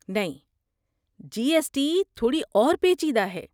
نہیں، G S T تھوڑی اور پیچیدہ ہے۔